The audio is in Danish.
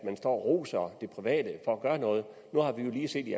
man står og roser det private for at gøre noget nu har vi jo lige set i